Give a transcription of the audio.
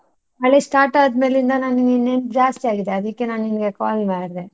ಮಳೆ start ಆದ್ಮೇಲಿಂದ ನಂಗೆ ನಿನ್ ನೆನ್ಪು ಜಾಸ್ತಿ ಆಗಿದೆ ಅದಿಕ್ಕೆ ನಾ ನಿಂಗೆ call ಮಾಡ್ದೆ.